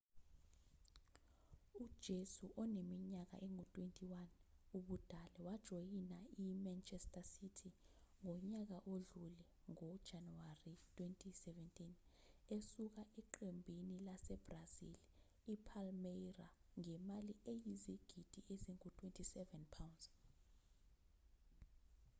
ujesu oneminyaka engu-21 ubudala wajoyina i-manchester city ngonyaka odlule ngo-januwari 2017 esuka eqembini lase-brazil i-palmeira ngemali eyizigidi ezingu-£27